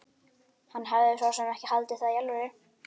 Hann hafði svo sem ekki haldið það í alvöru.